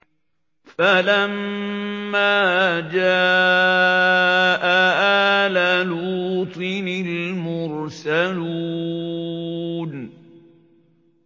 فَلَمَّا جَاءَ آلَ لُوطٍ الْمُرْسَلُونَ